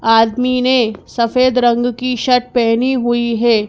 आदमी ने सफेद रंग की शर्ट पहनी हुई है।